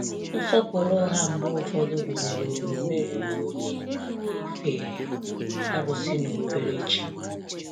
Nsọpụrụ ụgha mgbe ụfọdụ gụnyere omume ruru unyi na ife arụsị na obere chi.